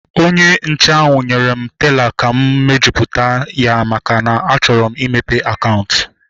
Onye nche ahu nyere m teela ka m mejupụta ya maka na a chọrọ m imepe akaụntụ